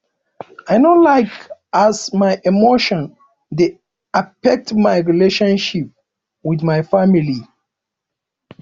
i no like as my emotion dey affect my relationship with my family